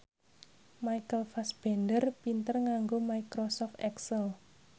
Michael Fassbender pinter nganggo microsoft excel